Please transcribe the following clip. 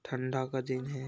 ठंडा का दिन है।